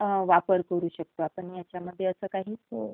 वापर करू शकतो का आपण ह्यामध्ये अस काही?